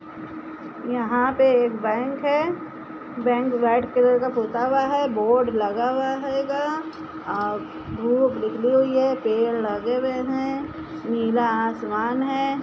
यहां पे एक बैंक है। बैंक वाईट कलर का पुता हुआ है बोर्ड लगा हुआ हुइगा। अ धूप निकली हुई है पेड़ लगे हुए हैं। नीला आसमान है।